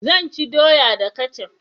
Zan ci doya da kecaf